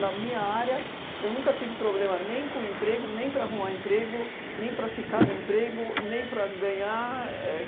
minha área, eu nunca tive problema nem com o emprego, nem para arrumar emprego, nem para ficar no emprego, nem para ganhar. Éh